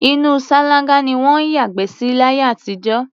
Inú ṣáláńgá ni wọ́n ń yàgbẹ́ sí láyé àtijọ́.